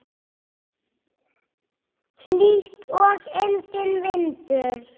Hlýtt og enginn vindur.